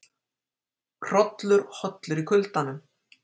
Hrollur hollur í kuldanum